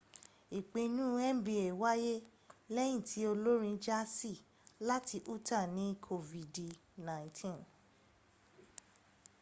ìpinu nba wáyé lẹ́yìn tí olórin jaasi láti utah ní kofidi 19